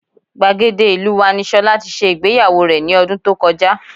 Gbàgede ìlú wa ni Ṣọlá tí ṣe ìgbéyàwó rẹ̀ ní ọdún tó kọjá